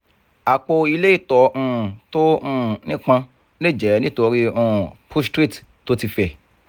apo ile ito um to um nipon le je nitori um prostate to ti fe